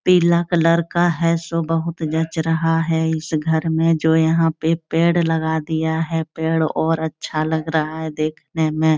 पीला कलर का है सो बहुत जच रहा है इस घर में जो यहाँ पे पेड़ लगा दिया है पेड़ और अच्छा लग रहा है देखने में।